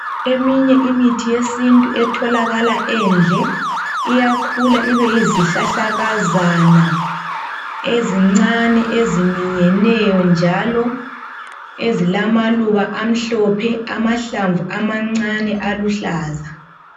Eminye imithi yesintu etholakala endle iyakhula ibeyizihlahlakazana, ezincane, eziminyeneyo, njalo ezilamaluba amhlophe, amahlamvu amancane aluhlaza.